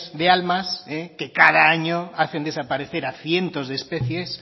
de almas que cada año hacen desaparece a cientos de especies